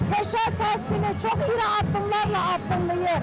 Peşə təhsilini çox iri addımlarla addımlayır.